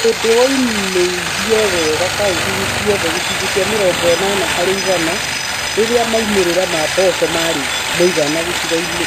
Ũgĩmbĩ waumirie wega kauntĩ-inĩ ciothe (gĩcunjĩ kĩa mĩrongo ĩnana harĩ igana) rĩrĩa maumĩrĩra ma mboco marĩ ma mũigana gĩcigo-inĩ